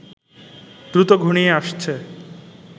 দ্রুত ঘনিয়ে আসছে